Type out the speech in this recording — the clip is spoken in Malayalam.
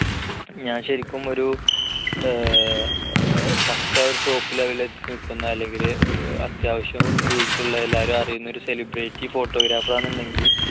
ഞാൻ ശരിക്കും ഒരു ഏർ പക്കാ ഒരു top level ൽ എത്തി നിൽക്കുന്ന അല്ലെങ്കിൽ അത്യാവശ്യം reach ഉള്ള അല്ലെങ്കിൽ എല്ലാവരും അറിയുന്ന ഒരു celebrity photographer ആണെന്നുണ്ടെങ്കിൽ